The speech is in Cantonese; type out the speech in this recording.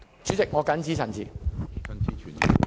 主席，我謹此陳辭。